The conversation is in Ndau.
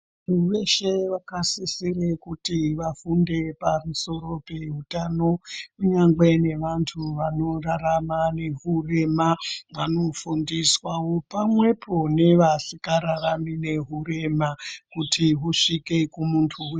Muntu weshe wakasisire kuti vafunde pamusoro pehutano kunyangwe nevantu vanorarama ngehurema vanofundiswawo pamwepo nevasikararami nehurema kuti husvike kumuntu weshe.